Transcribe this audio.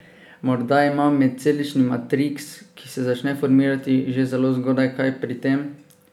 Morda ima medcelični matriks, ki se začne formirati že zelo zgodaj kaj pri tem?